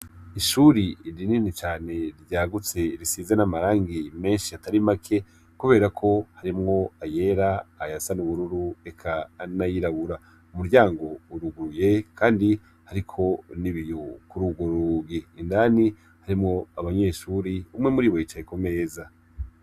Ishuri rinini cane ryagutse risize n' amarangi menshi atari make kubera ko harimwo ayera ayasa n' ubururu eka n' ayirabure umuryango uruguruye kandi uriko n' ibiyo kuri ugwo rugi indani harimwo abanyeshure umwe muribo yicaye kumeza.